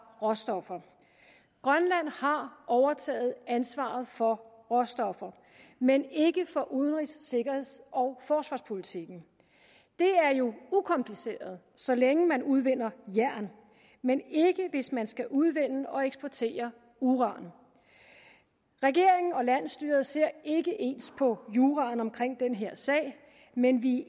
råstoffer grønland har overtaget ansvaret for råstofferne men ikke for udenrigs sikkerheds og forsvarspolitikken det er jo ukompliceret så længe man udvinder jern men ikke hvis man skal udvinde og eksportere uran regeringen og landsstyret ser ikke ens på juraen omkring den her sag men vi